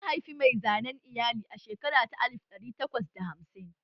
An haifi mai zanen iyali a shekara ta alif ɗari takwas da hamsin?